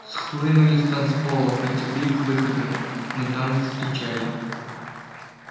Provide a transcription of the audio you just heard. схлынули с танцпола потекли к выходам но там их встречали